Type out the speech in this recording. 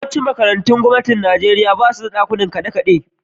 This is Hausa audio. Yawancin makarantun gwamnati a Nijeriya ba su da dakin kiɗa.